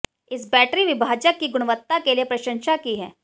इस बैटरी विभाजक की गुणवत्ता के लिए प्रशंसा की है